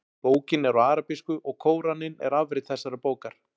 Bókin er á arabísku og Kóraninn er afrit þessarar bókar.